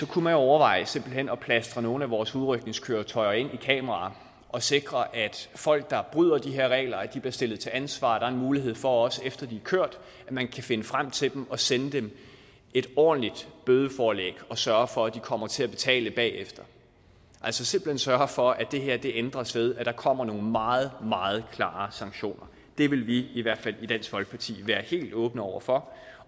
kunne overveje simpelt hen at plastre nogle af vores udrykningskøretøjer kameraer og sikre at folk der bryder de her regler bliver stillet til ansvar og der en mulighed for også efter de er kørt at man kan finde frem til dem og sende dem et ordentligt bødeforlæg og sørge for at de kommer til at betale bagefter altså simpelt hen sørge for at det her ændres ved at der kommer nogle meget meget klare sanktioner det ville vi i hvert fald være helt åbne over for